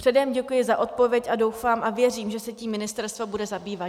Předem děkuji za odpověď a doufám a věřím, že se tím ministerstvo bude zabývat.